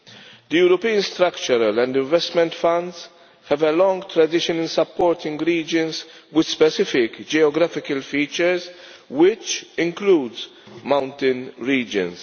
The European Structural and Investment Funds have a long tradition of supporting regions with specific geographical features, which includes mountain regions.